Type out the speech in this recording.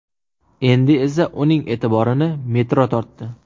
Endi esa uning e’tiborini metro tortdi.